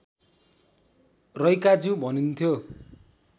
रैकाज्यू भनिन्थ्यो